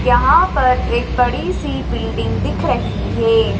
यहां पर एक बड़ी सी बिल्डिंग दिख रही है।